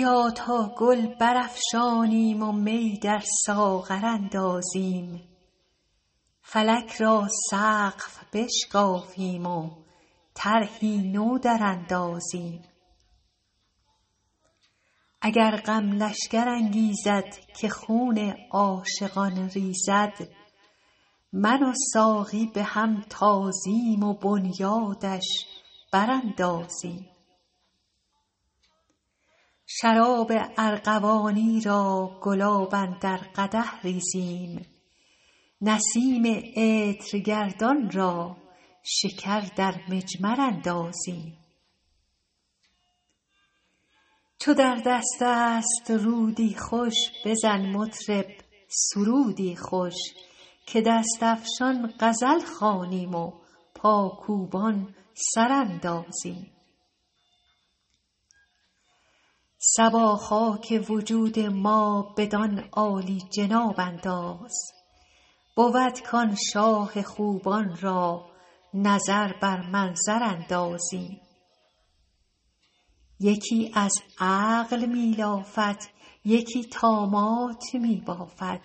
بیا تا گل برافشانیم و می در ساغر اندازیم فلک را سقف بشکافیم و طرحی نو دراندازیم اگر غم لشکر انگیزد که خون عاشقان ریزد من و ساقی به هم تازیم و بنیادش براندازیم شراب ارغوانی را گلاب اندر قدح ریزیم نسیم عطرگردان را شکر در مجمر اندازیم چو در دست است رودی خوش بزن مطرب سرودی خوش که دست افشان غزل خوانیم و پاکوبان سر اندازیم صبا خاک وجود ما بدان عالی جناب انداز بود کآن شاه خوبان را نظر بر منظر اندازیم یکی از عقل می لافد یکی طامات می بافد